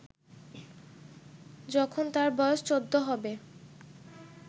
যখন তার বয়স চৌদ্দ হবে